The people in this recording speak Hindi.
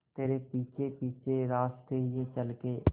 तेरे पीछे पीछे रास्ते ये चल के